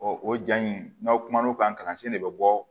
o ja in n'aw kumana o kan kalansen de be bɔ